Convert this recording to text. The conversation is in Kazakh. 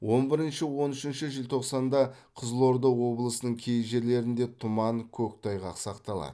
он бірінші он үшінші желтоқсанда қызылорда облысының кей жерлерінде тұман көктайғақ сақталады